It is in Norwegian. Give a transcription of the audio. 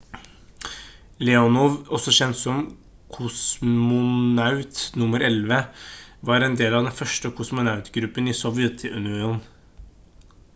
leonov også kjent som «kosmonaut nr. 11» var en del av den første kosmonautgruppen i sovjetunionen